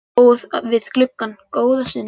Ég stóð við gluggann góða stund.